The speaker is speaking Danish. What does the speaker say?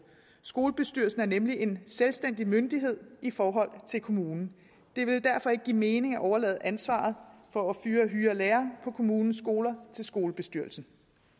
skolebestyrelsen er nemlig en selvstændig myndighed i forhold til kommunen det vil derfor ikke give mening at overlade ansvaret for at hyre lærere på kommunens skoler til skolebestyrelsen